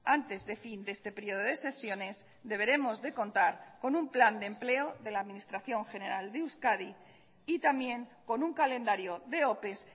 antes de fin de este periodo de sesiones deberemos de contar con un plan de empleo de la administración general de euskadi y también con un calendario de ope